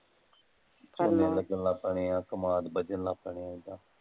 ਬੀਜਣ ਲੱਗ ਪੈਣੇ ਹੈ ਕਮਾਦ ਬੀਜਣ ਲੱਗ ਪੈਣੇ ਹੈ